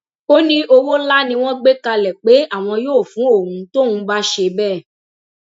ó ní owó ńlá ni wọn gbé kalẹ pé àwọn yóò fún òun tóun bá ṣe bẹẹ